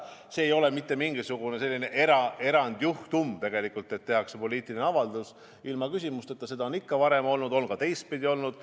See ei oleks mingisugune erandjuhtum, kui tehtaks poliitiline avaldus ilma küsimusteta, seda on ikka varem olnud, aga on ka teistpidi olnud.